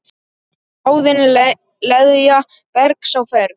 Bráðin leðja bergs á ferð.